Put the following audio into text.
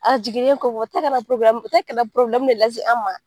A jiginen kɔfɛ, u bi tila kana probilɛmu u bɛ probilɛmu de las'an ma.